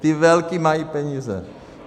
Ty velký mají peníze.